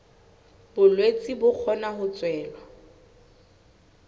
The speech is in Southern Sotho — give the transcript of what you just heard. bolwetse bo kgona ho tswela